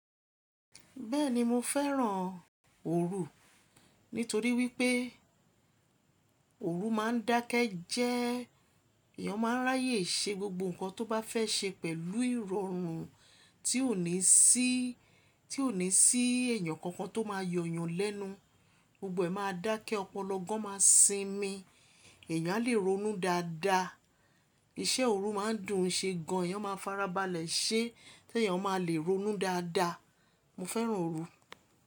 Bẹ́ẹ̀ni mo fẹ́ràn oru. Nítorí wípé oru máa ń dákẹ́ jẹ́, èèyàn máa ń ráyè ṣe gbogbo nǹkan tó bá fẹ́ ṣe pẹ̀lú ìrọ̀rùn tí ò ní sí, tí ò ní sí èèyàn kankan tó máa yọ̀ yan lẹ́nu. Gbogbo ẹ̀ máa dákẹ́, ọpọlọ gán máa sinmi. Èèyàn alè ronú dáadáa. Iṣẹ́ òru máa ń dùn ṣe gan an, èèyàn máa farabalẹ̀ ṣe tí èèyàn máa lè ronú dáadáa. Mo fẹ́ràn oru.